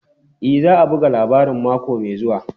E, za a buga labarin mako mai zuwa.